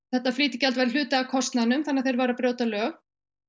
þetta flýtigjald væri hluti af kostnaðinum þannig að þeir væru að brjóta lög